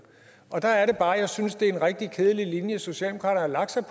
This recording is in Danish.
der er det bare at jeg synes det er en rigtig kedelig linje socialdemokratiet